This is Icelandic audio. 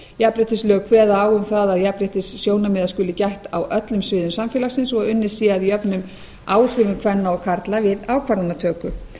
jafnréttislög kveða á um það að jafnréttissjónarmiða skuli gætt á öllum sviðum samfélagsins og unnið sé að jöfnum áhrifum kvenna og karla við ákvarðanatöku